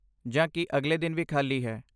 ਜਾਂ ਕੀ ਅਗਲੇ ਦਿਨ ਵੀ ਖਾਲੀ ਹੈ?